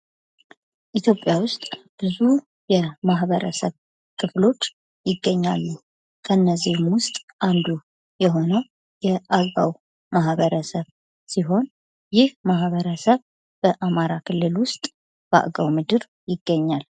ኢትዮጵያ ውስጥ ብዙ የማህበረሰብ ክፍሎች ይገኛሉ ። ከእነዚህም ውስጥ አንዱ የሆነው የአገው ማህበረሰብ ሲሆን ይህ ማህበረሰብ በአማራ ክልል ውስጥ በአገው ምድር ይገኛል ።